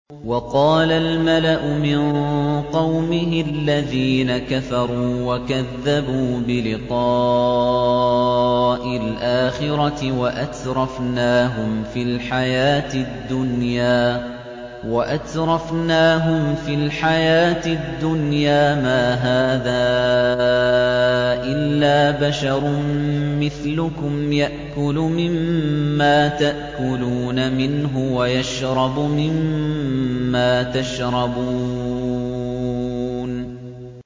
وَقَالَ الْمَلَأُ مِن قَوْمِهِ الَّذِينَ كَفَرُوا وَكَذَّبُوا بِلِقَاءِ الْآخِرَةِ وَأَتْرَفْنَاهُمْ فِي الْحَيَاةِ الدُّنْيَا مَا هَٰذَا إِلَّا بَشَرٌ مِّثْلُكُمْ يَأْكُلُ مِمَّا تَأْكُلُونَ مِنْهُ وَيَشْرَبُ مِمَّا تَشْرَبُونَ